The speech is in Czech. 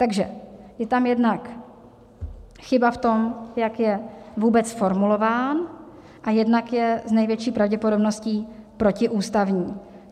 Takže je tam jednak chyba v tom, jak je vůbec formulován, a jednak je s největší pravděpodobností protiústavní.